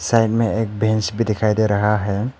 Side में एक bench भी दिखाई दे रहा है।